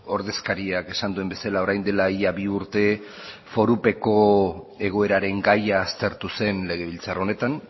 ordezkariak esan duen bezala orain dela ia bi urte forupeko egoeraren gaia aztertu zen legebiltzar honetan